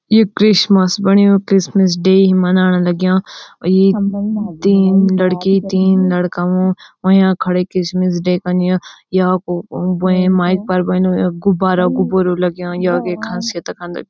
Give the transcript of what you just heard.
ये क्रिसमस बण्युं Christmas day मनाणा लग्यां और ये तीन लड़की तीन लड़का हुं अयां खड़ा क्रिसमस डे अन्य या कु बुए माइक पर बन हुयुं गुब्बारा-गुब्बारा लग्याँ या की खासियत तख खंद।